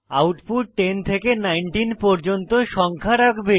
output 10 থেকে 19 পর্যন্ত সংখ্যা রাখবে